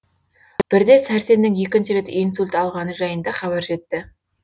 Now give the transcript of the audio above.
бірде сәрсеннің екінші рет инсульт алғаны жайында хабар жетті